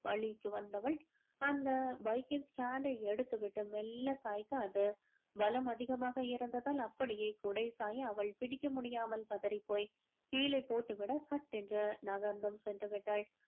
வழிக்கு வந்தவள் அந்த bike ன் stand டை எடுத்துவிட்டு மெல்ல சாய்க்க அது பலம் அதிகமாக இருந்ததால் அப்படியே குடை சாய அவள் பிடிக்க முடியாமல் பதறிபோய் கீழே போட்டு விட சட்டென்று நகர்ந்தும் சென்று விட்டாள்